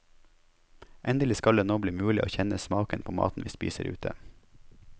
Endelig skal det nå bli mulig å kjenne smaken på maten vi spiser ute.